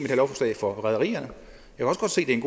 lovforslag for rederierne